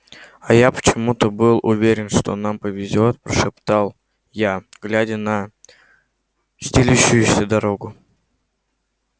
а я почему-то был уверен что нам повезёт прошептал я глядя на стелющуюся дорогу